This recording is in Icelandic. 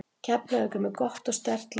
Keflavík er með gott og sterkt lið.